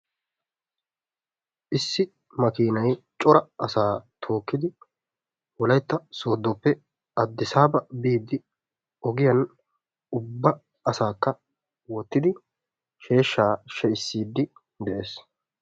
Issi makkiinay cora asaa tookkidi wolaytta sooddoppe Adissaabaa biidi ogiyan ubba asaakka wottidi sheeshshaa she"issiidi de'ees.